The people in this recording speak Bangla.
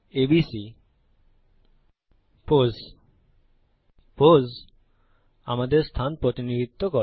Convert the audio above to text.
এবিসি পোস পোস আমাদের স্থান প্রতিনিধিত্ব করে